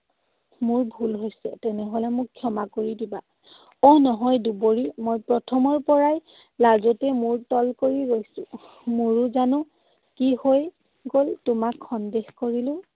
মোৰ ভুল হৈছে, তেনেহলে মোক ক্ষমা কৰি দিবা। অহ, নহয় দুবৰি। মই প্ৰথমৰ পৰাই লাজতে মোৰ তল কৰি ৰৈছো। মোৰো জানো কি হৈ গল, তোমাক সন্দেহ কৰিলো।